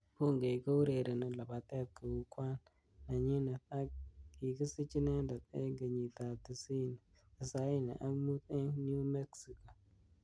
Bungei kourereni labatet kou kwan nenyinet ak kikisich inendet eng Kenyit ab tisaini ak mut eng New Mexico.